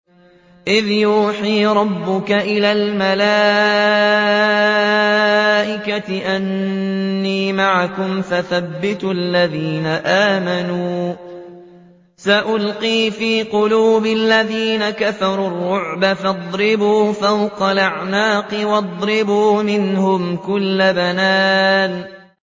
إِذْ يُوحِي رَبُّكَ إِلَى الْمَلَائِكَةِ أَنِّي مَعَكُمْ فَثَبِّتُوا الَّذِينَ آمَنُوا ۚ سَأُلْقِي فِي قُلُوبِ الَّذِينَ كَفَرُوا الرُّعْبَ فَاضْرِبُوا فَوْقَ الْأَعْنَاقِ وَاضْرِبُوا مِنْهُمْ كُلَّ بَنَانٍ